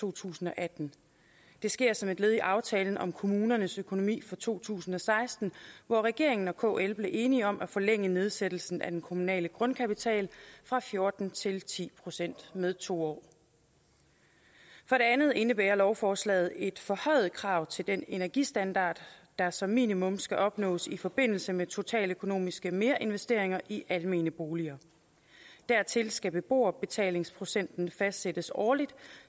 to tusind og atten det sker som et led i aftalen om kommunernes økonomi for to tusind og seksten hvor regeringen og kl er blevet enige om at forlænge nedsættelsen af den kommunale grundkapital fra fjorten til ti procent med to år for det andet indebærer lovforslaget et forhøjet krav til den energistandard der som minimum skal opnås i forbindelse med totaløkonomiske merinvesteringer i almene boliger dertil skal beboerbetalingsprocenten fastsættes årligt